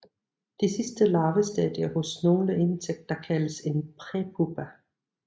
Det sidste larvestadie hos nogle insekter kaldes en prepupa